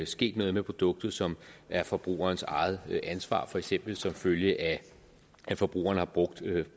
sket noget med produktet som er forbrugerens eget ansvar for eksempel som følge af at forbrugeren har brugt